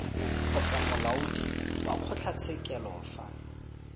kgotsa molaodi wa kgotlatshekelo fa